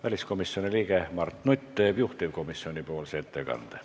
Väliskomisjoni liige Mart Nutt teeb juhtivkomisjoni nimel ettekande.